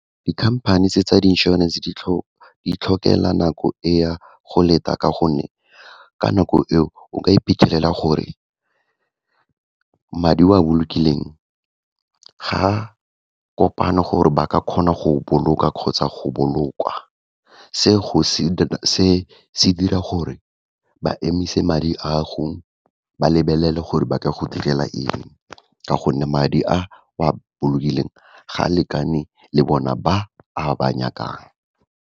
Dikhamphane tse tsa di insurance, di tlhokela nako e ya go leta ka gonne, ka nako eo, o ka iphitlhelela gore madi o a bolokileng ga kopane gore ba ka kgona go boloka, kgotsa go bolokwa. Se, se dira gore ba emise madi a go, ba lebelele gore ba ka go direla eng, ka gonne madi a o a bolokileng, ga a lekane le bona ba a ba nyakang.